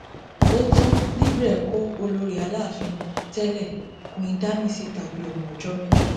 ó tán libre kọ olórí aláàfin tẹlẹ queen dami síta bíi ọmọ ọjọ mẹjọ